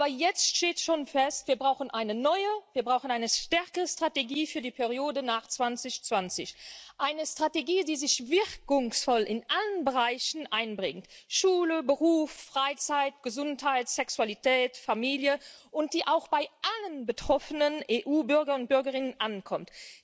Aber jetzt steht schon fest Wir brauchen eine neue, wir brauchen eine stärkere Strategie für die Periode nach 2020 eine Strategie, die sich wirkungsvoll in allen Bereichen einbringt Schule, Beruf, Freizeit, Gesundheit, Sexualität, Familie, und die auch bei allen betroffenen EU Bürgern und Bürgerinnen ankommt.